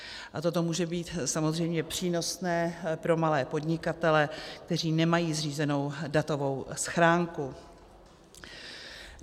A toto může být samozřejmě přínosné pro malé podnikatele, kteří nemají zřízenou datovou schránku.